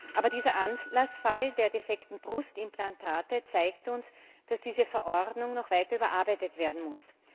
Aber dieser Anlassfall der defekten Brustimplantate zeigt uns, dass diese Verordnung noch weiter überarbeitet werden muss.